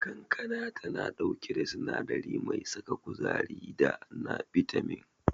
Kankana tana dauke da sinadari mai saka kuzari da na bitamin.